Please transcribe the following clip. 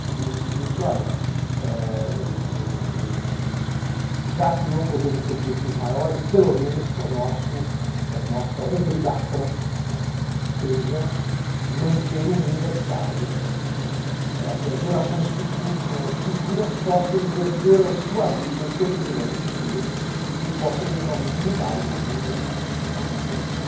que diz o seguinte, olha, o, já que não podemos ter objetivos maiores, pelo menos que a nossa obrigação seja manter o mundo habitável para que as gerações futuras possam exercer a sua vida, o seu privilégio de vida, e possam eventualmente mudá-lo para um mundo melhor, se nós não pudermos.